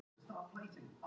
Nei, ekki sem ég veit um.